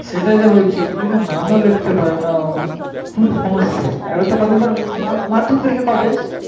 সেই টাই তো বলছি কিছু কিছু নামও লিখতে পারেনা পুরো সমস্যা আর এই তো কদিন পরে মাধ্যমিক পরীক্ষা কবে বেশ